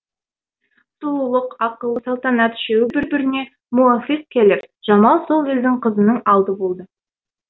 сұлулық ақыл салтанат үшеуі бір біріне муафиқ келіп жамал сол елдің қызының алды болды